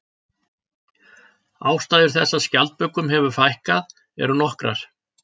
Ástæður þess að skjaldbökum hefur fækkað eru nokkrar.